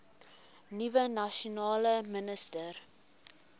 nuwe nasionale minister